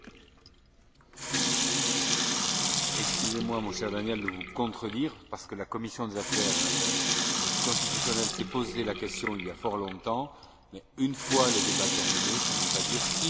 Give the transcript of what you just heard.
Excusez moi, mon cher Daniel, de vous contredire, parce que la commission des affaires constitutionnelles s'est posé la question il y a fort longtemps une fois le débat terminé, cela ne veut pas dire immédiatement après la fin du débat.